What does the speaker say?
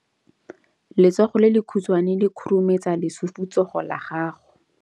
Letsogo le lekhutshwane le khurumetsa lesufutsogo la gago.